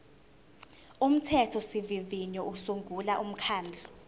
umthethosivivinyo usungula umkhandlu